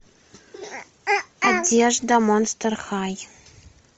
одежда монстр хай